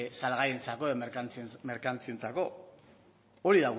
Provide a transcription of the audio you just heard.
salgaientzako edo merkantzientzako hori